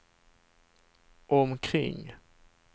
omkring